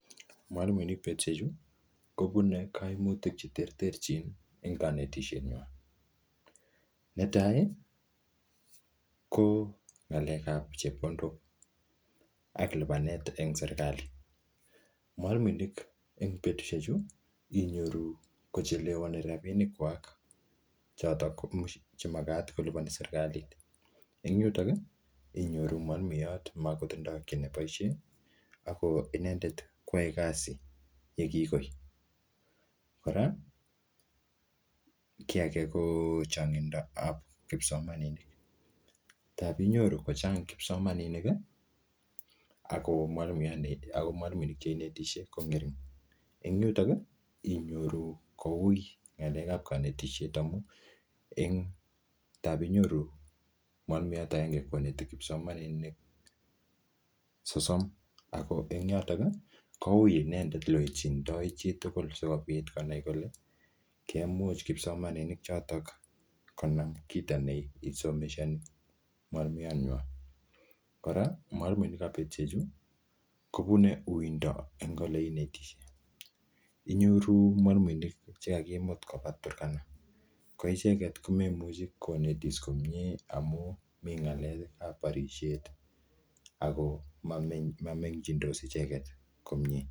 Mwalimuinik betusiek chu, kobune kaimutik che terterchin eng kanetisiet nywaa. Ne tai, ko ng'alek ap chepkondok ak lipanet eng serikali. Mwalimuinik eng betusiek chu, inyoru kochelewani rabinik kwak, chotok che magat kolipani serikali. Eng yutok, inyoru mwalimuiyot makotindoi kiy ne boisie, ako inendet, kwae kasi yekikoi. Kora, ki age ko changindo ap kipsomaninik. Tapinyoru kochang kipsomaninik, ako mwalimuiyo ne ako mwalimuinik che inetishie ko ng'ering. Eng yutok, inyoru koui ng'alek ap kanetisiet amu, eng tapinyoru mwalimuiyot agenge koneti kipsomaninik sosom. Ako eng yotok, koui inendet ole wetchindoi chitugul sikobit konai kole, kemuch kipsomaninik chotok konam kito ne isomeshani mwalimuiyot nywa. Kora, mwalimuinik ap betusiek chu, kobune uindo eng ole inetishie. Inyoru mwalimuinik che kakimut koba Turkana. Ko icheket, ko memuchi konetis komyee amu mi ng'alek ap barisiet. Ako mame-mamengchindos icheket komyee.